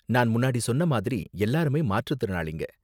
நான் முன்னாடி சொன்ன மாதிரி எல்லாருமே மாற்றுத்திறனாளிங்க.